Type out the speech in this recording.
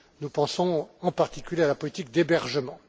Nous pensons en particulier à la politique d'hébergement.